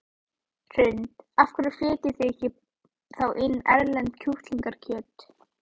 Hrund: Af hverju flytjið þið þá inn erlent kjúklingakjöt?